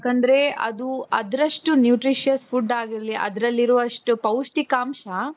ಯಾಕಂದ್ರೆ ಅದು ಅದ್ರಷ್ಟು nutritious food ಆಗಿರ್ಲಿ ಅದರಲ್ಲಿರುವಷ್ಟು ಪೌಷ್ಟಿಕಾಂಶ.